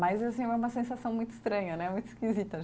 Mas, assim, é uma sensação muito estranha né, muito esquisita.